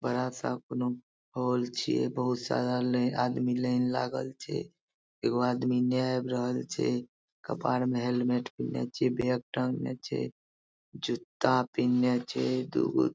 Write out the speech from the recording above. बड़ा सा कोनो हॉल छै बहुत सारा ले आदमी लाइन लागल छै एकगो आदमी नियाब रहल छै कपार में हेलमेट पिन्ने छै बैग टांगल छै जूता पिन्ने छै दुगो --